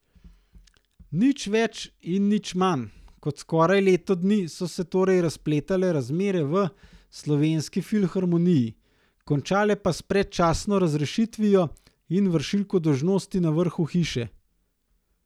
Nič več in nič manj kot skoraj leto dni so se torej zapletale razmere v Slovenski filharmoniji, končale pa s predčasno razrešitvijo in vršilko dolžnosti na vrhu hiše.